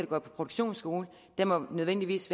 går på produktionsskole nødvendigvis